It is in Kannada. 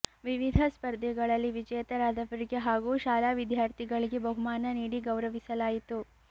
ವಿವಿಧ ಸ್ಪರ್ಧೆಗಳಲ್ಲಿ ವಿಜೇತರಾದವರಿಗೆ ಹಾಗೂ ಶಾಲಾ ವಿದ್ಯಾರ್ಥಿಗಳಿಗೆ ಬಹುಮಾನ ನೀಡಿ ಗೌರವಿಸಲಾಯಿತು